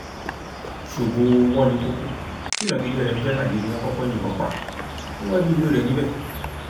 ṣógo owọnìkòkò tí ìnagijẹ rẹ ń jẹ marley ni wọn kọkọ yìnbọn pa níwájú ilé rẹ níbẹ